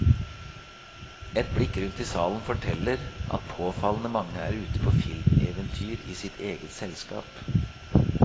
Et blikk rundt i salen forteller at påfallende mange er ute på filmeventyr i sitt eget selskap.